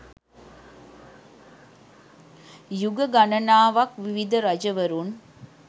යුග ගණනාවක් විවිධ රජවරුන්